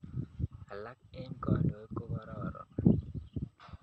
Alak eng' kandoik ko kororon